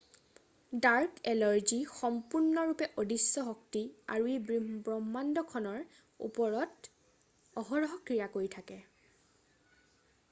dark energy সম্পূৰ্ণৰূপে অদৃশ্য শক্তি আৰু ই ব্ৰহ্মাণ্ডখনৰ ওপৰত অহৰহ ক্ৰিয়া কৰি থাকে